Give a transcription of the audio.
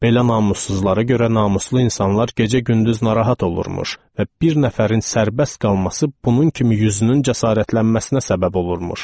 Belə namussuzlara görə namuslu insanlar gecə-gündüz narahat olurmuş və bir nəfərin sərbəst qalması bunun kimi yüzünün cəsarətlənməsinə səbəb olurmuş.